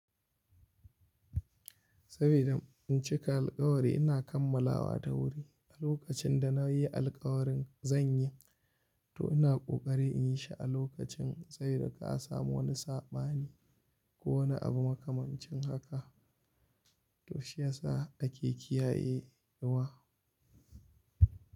Saboda in cika alkawari ina kammalawa da wuri. A lokacin da na yi alkawarin zan yi, to ina kokari in yi shi a lokacin. Sai da ka samu wani saɓani ko wani abu makamancin haka, to shi ya sa ake kiyaye inuwa.